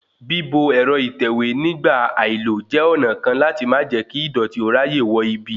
Bíbo ẹ̀rọ ìtẹ̀wé nígbà àìlò jẹ́ ọ̀nà kan láti má jẹ́ kí ìdọ̀tí ó ráyè wọ ibi